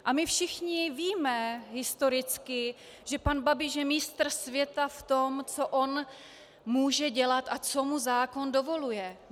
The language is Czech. A my všichni víme historicky, že pan Babiš je mistr světa v tom, co on může dělat a co mu zákon dovoluje.